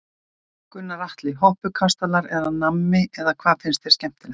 Gunnar Atli: Hoppukastalar eða nammi eða hvað finnst þér skemmtilegt?